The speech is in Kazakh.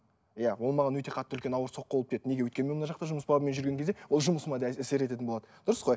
иә ол маған өте қатты үлкен ауыр соққы болып тиеді неге өйткені мен мына жақта жұмыс бабымен жүрген кезде ол жұмысыма да әсер ететін болады дұрыс қой